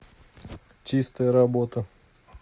чистая работа